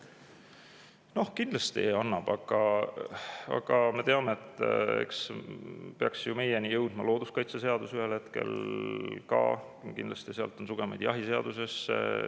Noh, kindlasti annab, aga me teame, et meieni peaks ju jõudma ka looduskaitseseadus ühel hetkel, kindlasti jõuab sealt sugemeid jahiseadusesse.